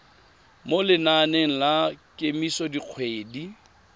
mo lenaneng la kemiso dikgwedi